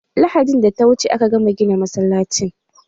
Lahadin da ta wuce aka gama gina masallacin.